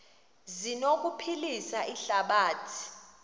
zi anokuphilisa ihlabathi